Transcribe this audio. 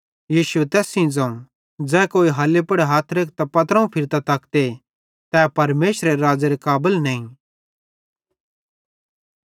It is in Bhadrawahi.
यीशुए तैस सेइं ज़ोवं ज़ै कोई हल्ली पुड़ हथ रेखतां पत्रोवं फिरतां तकते तै परमेशरेरे राज़्ज़ेरे काबल नईं